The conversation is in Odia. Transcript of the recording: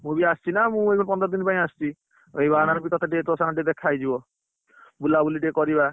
ମୁ ବି ଆସିଛି ନା ମୁ ଏବେ ପନ୍ଦର ଦିନ ପାଇଁ ଆସିଛି। ସେଇ ବାହାନା ରେ ତତେ ଟିକେ ତୋ ସାଙ୍ଗରେ ଦେଖା ହେଇଯିବ, ବୁଲାବୁଲି ଟିକେ କରିବା।